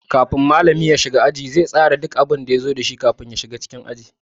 Kafin malami ya shiga aji, zai tsara duk abun da zai koyar a cikin littafi.